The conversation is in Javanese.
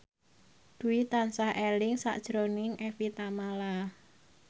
Dwi tansah eling sakjroning Evie Tamala